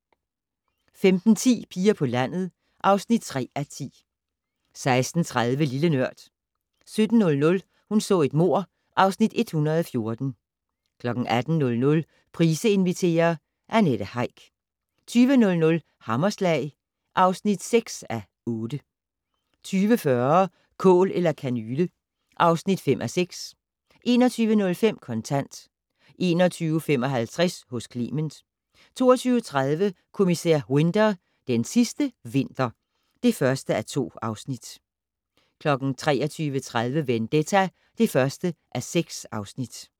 15:10: Piger på landet (3:10) 16:30: Lille Nørd 17:00: Hun så et mord (Afs. 114) 18:00: Price inviterer - Annette Heick 20:00: Hammerslag (6:8) 20:40: Kål eller kanyle (5:6) 21:05: Kontant 21:55: Hos Clement 22:30: Kommissær Winter: Den sidste vinter (1:2) 23:30: Vendetta (1:6)